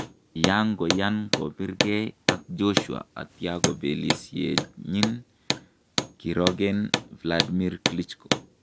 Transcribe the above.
Kiyanko yaan kobiir kee ak Joshua atya kabelisyenyin kirooken Wladmir Klitschko